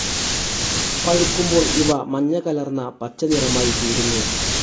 പഴുക്കുമ്പോൾ ഇവ മഞ്ഞ കലർന്ന പച്ചനിറമായി തീരുന്നു.